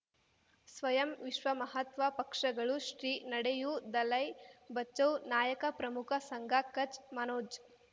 ಸ್ವಯಂ ವಿಶ್ವ ಮಹಾತ್ಮ ಪಕ್ಷಗಳು ಶ್ರೀ ನಡೆಯೂ ದಲೈ ಬಚೌ ನಾಯಕ ಪ್ರಮುಖ ಸಂಘ ಕಚ್ ಮನೋಜ್